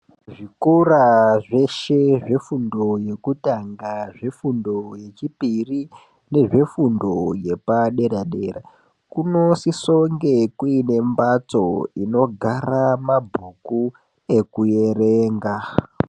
Zvikora zveshe zvefundo yekutanga, zvefundo yechipiri nezvefundo yepadera dera kunosise kunge kuine mbatso inogara mabhuku ekuyerenga.